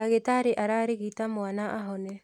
Ndagĩtarĩ ararigita mwana ahone